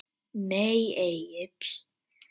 Nei Egill.